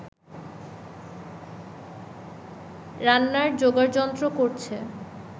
রান্নার জোগাড়যন্ত্র করছে